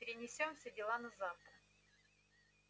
перенесём все дела на завтра